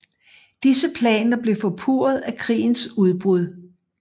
Disse planer blev forpurret af krigens udbrud